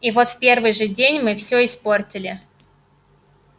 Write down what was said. и вот в первый же день мы всё испортили